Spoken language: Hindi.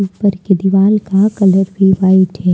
घर के दीवार का कलर भी व्हाइट है।